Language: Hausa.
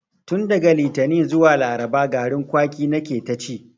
Tun daga litani zuwa laraba garin kwaki na ke ta ci